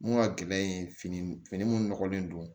Mun ka gɛlɛn yen fini fini minnu nɔgɔlen don